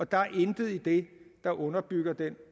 der er intet i det der underbygger den